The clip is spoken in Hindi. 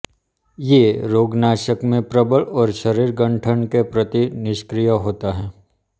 ये रोगनाशन में प्रबल और शरीर गठन के प्रति निष्क्रिय होता हैं